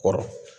Kɔrɔ